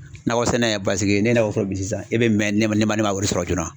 Nakɔ sɛnɛ paseke ne n'a o fɔ bi sisan e bɛ mɛn ne ma ne ma wari sɔrɔ joona